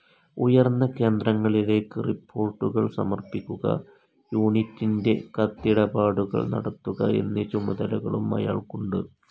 ഉയർന്ന കേന്ദ്രങ്ങളിലേക്ക് റിപ്പോർട്ടുകൾ സമർപ്പിക്കുക, യൂണിറ്റിൻ്റെ കത്തിടപാടുകൾ നടത്തുക എന്നീ ചുമതലകളും അയാൾക്കുണ്ട്.